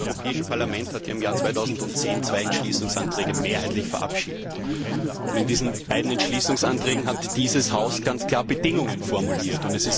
Das Europäische Parlament hatte im Jahr 2010 zwei Entschließungsanträge mehrheitlich verabschiedet. In diesen beiden Entschließungsanträgen hat dieses Haus ganz klar Bedingungen formuliert.